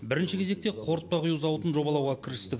бірінші кезекте қортпа құю зауытын жобалауға кірістік